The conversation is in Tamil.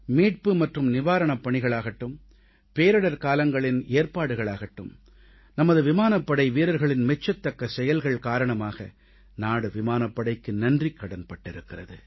மீட்பு மற்றும் நிவாரணப் பணிகளாகட்டும் பேரிடர்காலங்களின் ஏற்பாடுகள் ஆகட்டும் நமது விமானப் படை வீரர்களின் மெச்சத்தக்க செயல்கள் காரணமாக நாடு விமானப்படைக்கு நன்றிக்கடன்பட்டிருக்கிறது